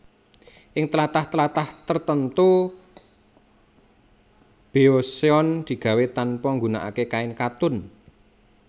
Ing tlatah tlatah tertemtu beoseon digawé tanpa nggunakake kain katun